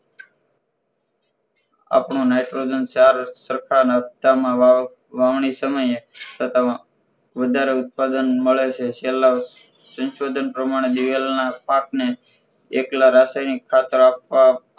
આપણું nitrogen ચાર સરખા નાખતાંમાં વાવણી સમયે તથા વધારે ઉત્પાદન મળે છે છેલ્લા સાંસોધન પ્રમાણે દિવેલના પાકને એકલા રાસાયણિક ખાતર આપવા